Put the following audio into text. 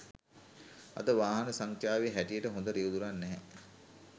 අද වාහන සංඛ්‍යාවේ හැටියට හොඳ රියැදුරන් නැහැ